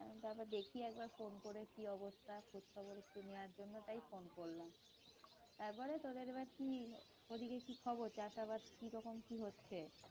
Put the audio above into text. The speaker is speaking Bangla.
তারপর দেখি একবার phone করে কি অবস্হা খোঁজ খবর একটু নেওয়ার জন্য তাই phone করলাম তারপরে তোদের এবারে কি ওদিকে কি খবর চাষ আবাদ কি রকম কি হচ্ছে?